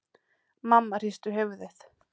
Mamma hristi höfuðið.